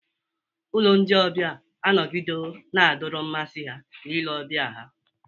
Ụlọ ndị ọbịa anọgidewo na-adọrọ mmasị ha na ile ọbịa ha.